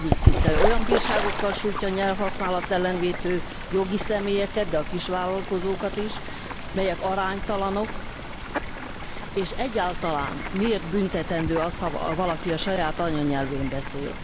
9. cikkelye olyan bírságokkal sújtja a nyelvhasználat ellen vétő jogi személyeket, de a kisvállalkozókat is, melyek aránytalanok és egyáltalán, miért büntetendő az, ha valaki a saját anyanyelvén beszél?